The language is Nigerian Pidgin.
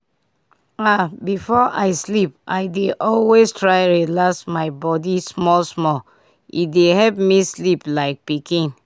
ah before i sleep i dey always try relax my body small-small—e dey help me sleep like pikin.